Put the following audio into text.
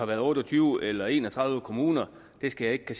været otte og tyve eller en og tredive kommuner skal jeg ikke